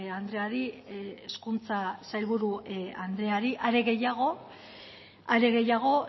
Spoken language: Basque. andreari hezkuntza sailburu andreari are gehiago